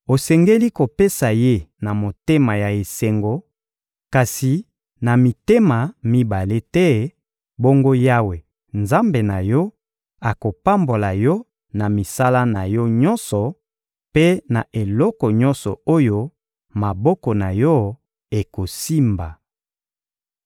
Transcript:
Osengeli kopesa ye na motema ya esengo kasi na mitema mibale te; bongo Yawe, Nzambe na yo, akopambola yo na misala na yo nyonso mpe na eloko nyonso oyo maboko na yo ekosimba.